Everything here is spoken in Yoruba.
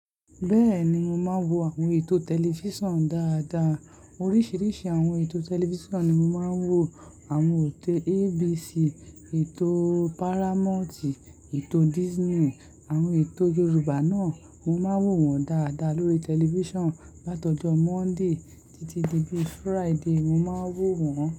Bẹ́ẹ̀ni, mo máa ń wo àwọn ètò tẹlifísàn dáadáa. Oríṣiríṣi àwọn ètò tẹlifísàn ni mo máa ń wò. Àwọn ètò ABC, ètò Paramount, ètò Disney, àwọn ètò Yorùbá náà, mo máa ń wò wọ́n dáadáa lórí tẹlifísàn látọjọ Monday títí di bí Friday, mo máa ń wò wọ́n.